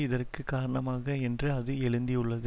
இதற்கு காரணமாக என்று அது எழுந்தியுள்ளது